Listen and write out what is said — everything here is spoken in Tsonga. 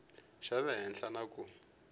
xa le henhla na ku